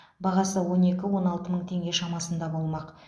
бағасы он екі он алты мың теңге шамасында болмақ